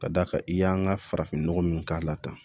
Ka d'a kan i y'an ka farafin nɔgɔ min k'a la tan